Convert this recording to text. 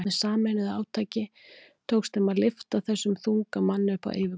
Með sameinuðu átaki tókst þeim að lyfta þessum þunga manni upp á yfirborðið.